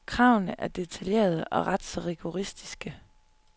Kravene er detaljerede, og ret så rigoristiske.